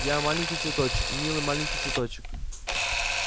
я маленький цветочек милый маленький цветочек